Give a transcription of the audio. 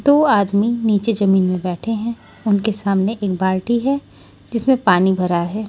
दो आदमी नीचे जमीन में बैठे हैं उनके सामने एक बाल्टी है जिसमें पानी भरा है।